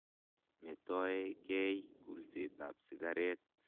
Metoe kei kulset ap sikaret.